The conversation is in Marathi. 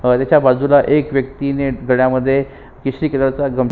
त्याच्या बाजूला एक व्यक्तिने गळ्यामध्ये केशरी कलर चा --